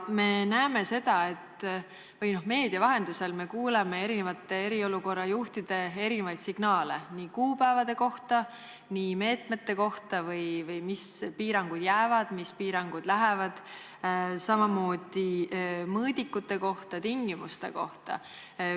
Me näeme ja kuuleme meedia vahendusel eriolukorra juhtide erinevaid signaale kuupäevade kohta, samuti meetmete kohta või selle kohta, millised piirangud jäävad, mis piirangud lähevad, samamoodi mõõdikute ja tingimuste kohta.